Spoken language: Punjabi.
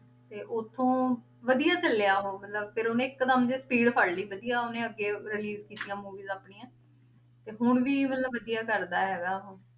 ਤੇ ਉੱਥੋਂ ਵਧੀਆ ਚੱਲਿਆ ਉਹ ਮਤਲਬ ਫਿਰ ਉਹਨੇ ਇੱਕ ਦਮ ਜਿਹੇ speed ਫੜ ਲਈ ਵਧੀਆ ਉਹਨੇ ਅੱਗੇ release ਕੀਤੀਆਂ movies ਆਪਣੀਆਂ ਤੇ ਹੁਣ ਵੀ ਮਤਲਬ ਵਧੀਆ ਕਰਦਾ ਹੈਗਾ ਉਹ।